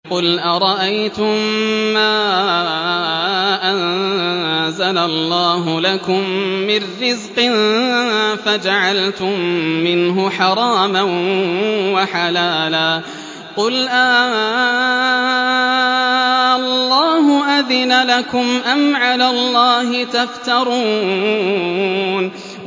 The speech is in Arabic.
قُلْ أَرَأَيْتُم مَّا أَنزَلَ اللَّهُ لَكُم مِّن رِّزْقٍ فَجَعَلْتُم مِّنْهُ حَرَامًا وَحَلَالًا قُلْ آللَّهُ أَذِنَ لَكُمْ ۖ أَمْ عَلَى اللَّهِ تَفْتَرُونَ